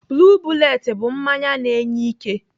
Blue bullet bụ mmanya na-enye ike.